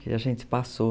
Que a gente passou.